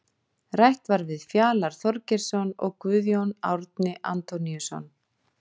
Rætt var við Fjalar Þorgeirsson og Guðjón Árni Antoníusson.